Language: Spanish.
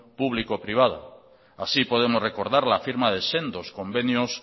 público privada así podemos recordar la firma de sendos convenios